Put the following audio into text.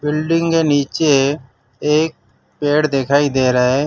Building के नीचे एक पेड़ दिखाई दे रहा है।